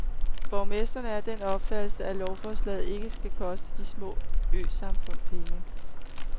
Borgmesteren er af den opfattelse, at lovforslaget ikke skal koste de små øsamfund penge.